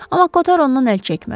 Amma Kotar ondan əl çəkmədi.